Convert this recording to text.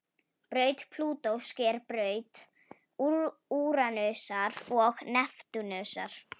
Braut Plútós sker braut Úranusar og Neptúnusar.